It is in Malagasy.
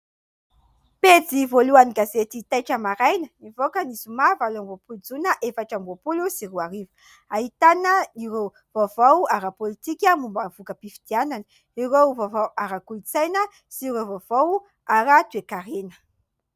Pejy voalohan'ny gazety "Taitra Maraina", nivoaka ny zoma valo amby roapolo jona efatra amby roapolo sy roa arivo. Ahitana ireo vaovao ara-pôlitika momba ny voka-pifidianana, ireo vaovao ara-kolotsaina sy ireo vaovao ara-toekarena.